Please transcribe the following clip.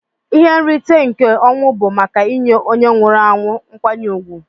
Ihe nrite nke ọnwụ bu maka inye onye nwụrụ anwu nkwanye ugwu.